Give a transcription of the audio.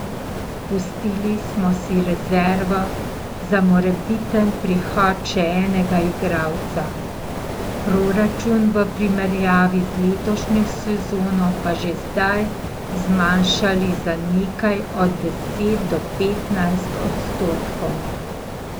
Pustili smo si rezervo za morebiten prihod še enega igralca, proračun v primerjavi z letošnjo sezono pa že zdaj zmanjšali za nekje od deset do petnajst odstotkov.